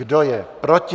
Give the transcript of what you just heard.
Kdo je proti?